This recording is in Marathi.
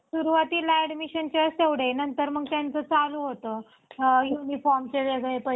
पाण्याच्या पातळीत वाढ होतांना दिसतेय. काही काही म्हणजे आपण बघितलं तर अं इकडे पश्चिम म्हणजे